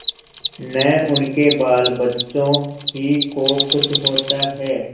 न उनके बालबच्चों ही को कुछ होता है